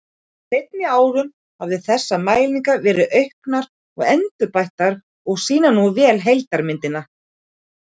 Á seinni árum hafa þessar mælingar verið auknar og endurbættar og sýna nú vel heildarmynd.